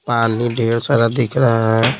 पानी ढेर सारा दिख रहा है।